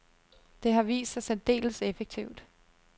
Det har vist sig særdeles effektivt.